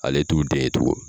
Ale t'u den tugun !